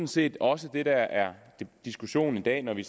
set også det der er til diskussion i dag når vi